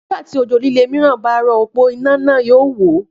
Nígbà tí òjò líle mìíràn bá rò òpó iná náà yóò wó